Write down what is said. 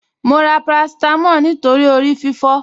Mo ra paracetamol nítorí orí fífọ́